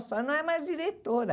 A senhora não é mais diretora.